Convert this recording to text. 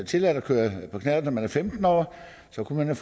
tilladt at køre på knallert når man er femten år så kunne man